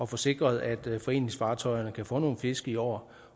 få sikret at foreningsfartøjerne kan få nogle fisk i år